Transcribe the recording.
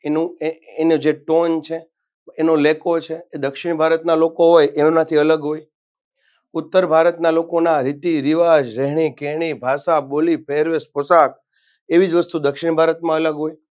એનું એનું જે Tone છે એનો લેકો છે. એ દક્ષિણ ભારતના લોકો હોય તેઓનાથી અલગ હોય ઉત્તર ભારતના લોકોના રીતિ રિવાજ રહેણી કરની ભાષા બોલી પહેરવેશ પોશાક એવીજ વસ્તુ દક્ષિણ ભારતમાં અલગ હોય.